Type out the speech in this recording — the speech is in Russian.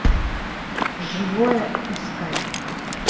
живое искать